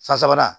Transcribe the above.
San sabanan